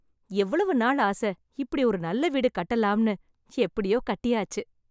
எவ்வளவு நாள் ஆசை இப்படி ஒரு நல்ல வீடு கட்டலாம்னு, எப்படியோ கட்டியாச்சு.